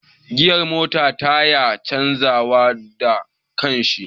Giyar mota ta yana canja wa da kanshi